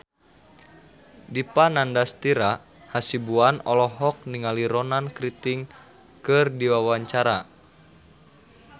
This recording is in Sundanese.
Dipa Nandastyra Hasibuan olohok ningali Ronan Keating keur diwawancara